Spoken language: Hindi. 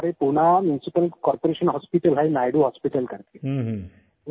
और हमारे पुणे म्यूनिसिपल कार्पोरेशन हॉस्पिटल है नायडू हॉस्पिटल करके